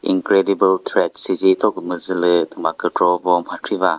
incredible threads süzi thokümüzü lü thüma kükro vo mhakri ba.